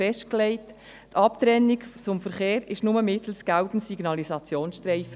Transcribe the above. Die Abtrennung vom Verkehr erfolgt nur mittels gelbem Signalisationsstreifen.